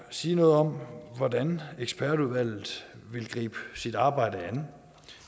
sige noget om hvordan ekspertudvalget vil gribe sit arbejde an